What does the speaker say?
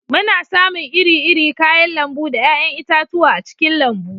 Muna samun iri-iri kayan lambu da 'ya'yan itatuwa a cikin lambu